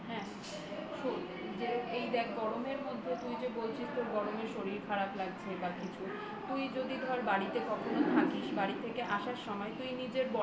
শোন গরমের মধ্যে তুই যে বলছিস তোর গরমের শরীর খারাপ লাগছে বা কিছু তুই যদি বাড়িতে কখনো থাকিস বাড়ি থেকে আসার সময় তুই নিজের